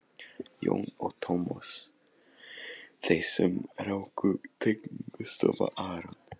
Jón og Tómas, þeir sem ráku teiknistofuna aRON